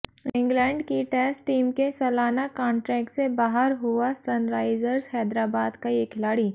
England की test team के सलाना कांट्रेक्ट से बाहर हुआ सनराइजर्स हैदराबाद का ये खिलाड़ी